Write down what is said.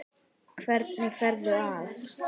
Hvernig ferðu að?